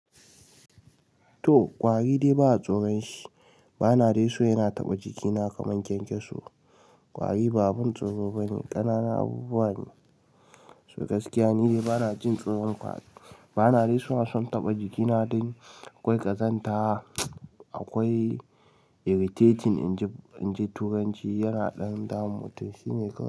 To, ƙwari dai ba a tsoron shi. Bana dai so yana taɓa jikina kaman kyankyaso. Ƙwari ba abin tsoro bane, ƙanana abubuwa ne. So gaskiya ni dai bana jin tsoron ƙwari. Bana dai so na son taɓa jikina dan akwai ƙazanta, akwai irritating in ji turanci yana ɗan damun mutum. Shi ne ƙwari.